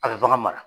A bɛ bagan mara